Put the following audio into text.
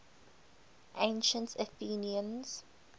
ancient athenians